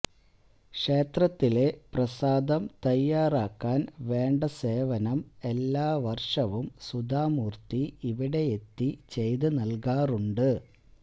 ക്ഷേത്രത്തിലെ പ്രസാദം തയ്യാറാക്കാൻ വേണ്ട സേവനം എല്ലാ വർഷവും സുധാ മൂർത്തി ഇവിടെയെത്തി ചെയ്ത് നൽകാറുണ്ട്